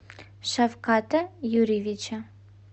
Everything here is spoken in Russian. шавката юрьевича